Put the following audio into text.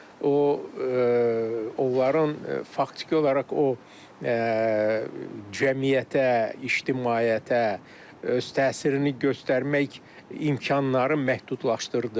O, onların faktiki olaraq o cəmiyyətə, ictimaiyyətə öz təsirini göstərmək imkanlarını məhdudlaşdırdı.